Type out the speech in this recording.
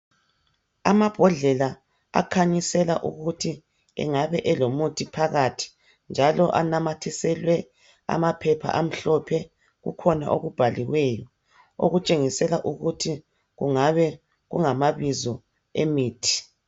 Amabhodlela akhanyisela ukuthi engabe elomuthi phakathi njalo anamathiselwe amaphepha amhlophe kukhona okubhaliweyo okutshengisela ukuthi kungabe kungamabizo emithi